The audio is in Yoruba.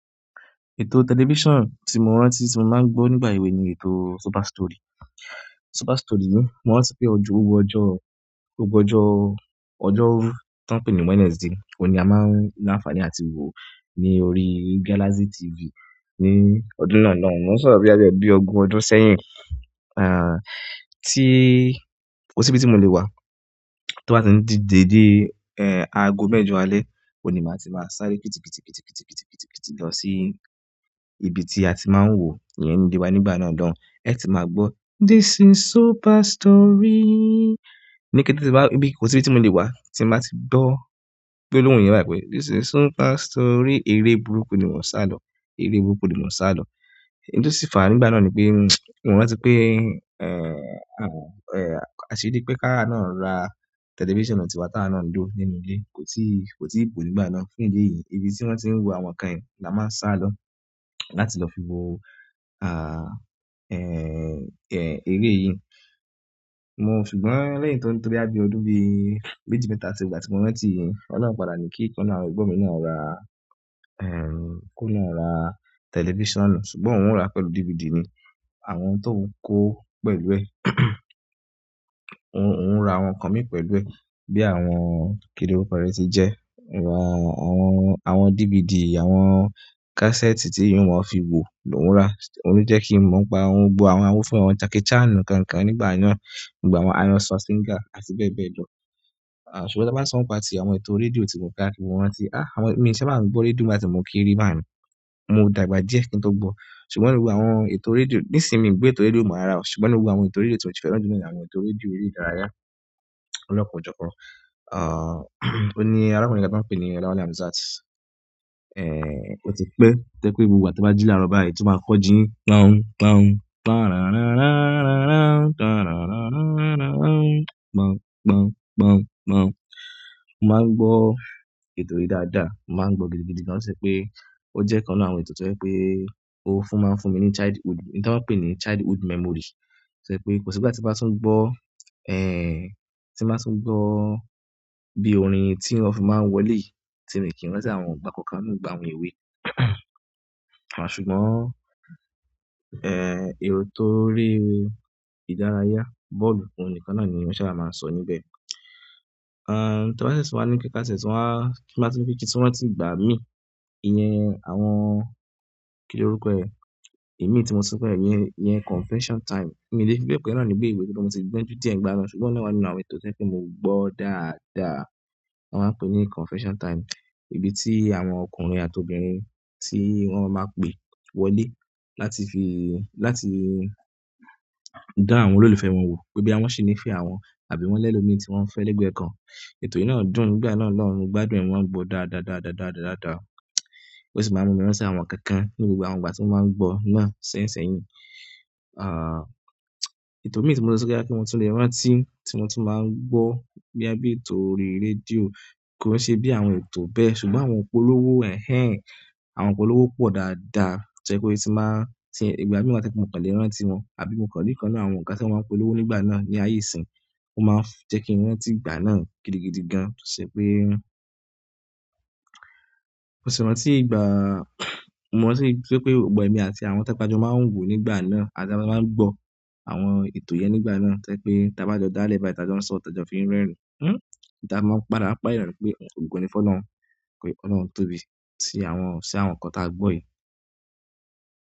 Ètò television tí mo rántí tí mo máa ń gbọ́ nígbà èwe ni ètò Super. Story. Super Story ni, mo rántí pé gbogbo ojo ọjọ́, gbogbó ọjọ́, ọjọ́rú tí wọ́n ń pè ní Wednesday, òuní a máa ń ní àǹfààní àti wò ní orí Galaxy TV. Ni ọdún náà loun, mo sọ boya bi ogún ọdún sẹ́yìn, ah, tí, kò sí ibi tí mo le wà, tó bá ti ń di dédé, eh, ago mẹ́jọ alẹ́, òní máa ti máa sáré pítìpítìpítìpítìpítìpítì lọ sí ibi tí a ti máa ń wòó, ìyẹn nílé wa nígbà náà loun. Eti máa gbọ́ this is Super Story. Ni kété tí bá, ibi kò sí ibi tí mo le wà tí a máa ti gbọ́ gbolohùn yẹn bá pè, this is Super Story, eré burúkú ni mọ́n ṣ'álọ́, eré burúkú ni mọ́n ṣ'álọ́. Hin tó sì fàá nígbà náà ni pé, mo rántí pé, eh, ah, eh, a ṣirí pé káwa náà ra television tiwá táwà náà lọ́ nínú ilé. Kò tí, kò tí ì bo nígbà náà. Fún idi èyí ibi ti won ti wo àwọn nkan yen la a maa n salo láti lo fiwo ehn ere yìí. Mo ṣùgbọ́n lẹ́yìn tó, tó boya bí ọdún bí méjì mẹ́ta ti gbà tí mo rántí yìí, ọlọ́run padà ní kí ìkan nínú, àwọn ẹ̀gbọ́n mi náà ra, eh, kóun náà ra televisionu. Ṣùgbọ́n òun ń ra pẹ̀lú DVD ni. Àwọn tó ń kó pẹ̀lú ẹ. Óun ń ra àwọn nkan mì pẹ̀lú ẹ bí i àwọn kìloruko re ti jẹ́, àwọn, àwọn, àwọn DVD, àwọn cassette tí ìwọ́n ó fi wò lóuń ra. Òún lo jẹ́ kí n mọ̀ pa òun gbo àwọn, awò ó fún àwọn Jackie Chan ikan kan nígbà náà, nígbà àwọn iron singer àti bẹ́ẹ̀ bẹ́ẹ̀ lọ. Ah, ṣùgbọ́n tebá sọ n pa ti àwọn ètò rédíò tí mò ń káàkiri, ti mo rántí, ah, àwọn, mii sa bá ń gbọ́ rédíò nígbà tí mò ń kere báun. Mo dàgbà díẹ̀ kí n tó gbọ́. Ṣùgbọ́n gbogbo àwọn ètò rédíò, nísìí n mi gbo ètò rédíò ò mọ ara o. Ṣùgbọ́n nígbogbo àwọn ètò rédíò tí mo si fẹ́ràn jù lọ ní àwọn ètò rédíò eré ìdárayá lọ́pọ̀ ọjọ́ kan. Ah, òun ní alákunrin kan tí wọ́n pé ní Olawale Hamzat ehn, oti pee to je pe gbogbo ìgbà ti n baji laaro báyìí to maa ko ji. Mo máa ń gbọ́ ètò yìí dáadáa, mo máa ń gbọ́ gidi gidi gan. Ó ṣe pé ó jẹ́ kan nínú áwọn ètò tí ó jẹ́ pé ó fún máa ń fún mi ní childhood, n tí wọ́n ń pè ní childhood memory. To je pé kò sí ìgbà tí mo bá tún gbọ́, eh, tí bá tún gbọ́ bí orin tí wọ́n fi máa ń wọlé yiì tí mi kí n rántí àwọn ìgbà koo kan ní ìgbà òun owé. Ṣùgbọ́n, eh ètò orí ìdárayá bọ́ọ̀lù oun nìkan naani won sabaa maa n so níbẹ̀, ti a ba ti e tuwa ni pe ti a ba ti e tun wa ni pe kin tun rántí ìgbà mi iyen àwọn kiloruko e imi ti mo tu so iyen confession time mi le file pe bi ìwé ṣùgbọ́n moti gbonju di e n gbanaa ṣùgbọ́n oun náà wa lára àwọn ètò to je pe mogbo dáadáa won maa n pe ni confession time. Ibi tí àwọn ọkùnrin àti obìnrin tí wọ́n máa pè wọlé láti fi, láti dá àwọn olólùfẹ́ wọn wò pé boya wọn ṣi ńifẹ́ àwọn àbí wọ́n lẹ́lọ̀ mií tí wọ́n fẹ́ lẹ́gbẹ̀ẹ́ kan. Ètò yìí náà dùn nígbà náà lọ́hun, mogbádùn e, mo máa ń gbọ́ dáadáá, dáadáa, dáadáa, dáadáa. Ó sì máa ń mú mi rántí àwọn ikankan ní gbogbo àwọn ìgbà tí mò ń gbọ́ náà sẹ́yìnsẹ́yìn. Ah, ètò mii ti mo le so pe boya mo tun le rántí ti mo tun maa n gbo boya bi ètò orí radio ko se bi àwọn ètò bẹ́ẹ̀ ṣùgbọ́n àwọn ìpolówó ehn ehn àwọn ìpolówó po dáadáa. To je pe ti n ba, tin, ìgbà mii wa toje pe mokan le rántí won àbí mokan ri ikan nínú àwọn ọ̀gá ti won maa n polówó nígbà náà ni aye isin. Ó máa ń jẹ́ kí n rántí ìgbà náà gidigidi gan. Sé pé, mo sì rántí ìgbà, mo sì rántí pé gbogbọ́ ẹ̀mi àti àwọn tẹ́ pe a jọ máa ń wò nígbà náà. Àti àwọn tí a jọ máa ń gbọ́ àwọn ètò yẹn nígbà náà. Té pé taba jọ dá lẹ̀ba, ta jọ ń sọ, taa de fi ń rẹ́erin. Hmm. Daa mo parà pa eerin pé ògò ní fọ́ lọ́run, pé ọlọ́run tó bí i sí àwọn, sí àwọn nkan táa gbọ́ yíi.